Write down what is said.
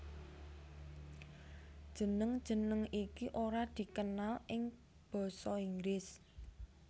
Jeneng jeneng iki ora dikenal ing basa Inggris